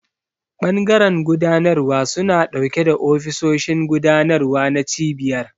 Bangaren gudanarwa suna dauke da ofisoshin gudanarwa na cibiyar.